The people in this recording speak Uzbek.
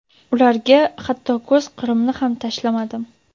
ularga hatto ko‘z qirimni ham tashlamadim.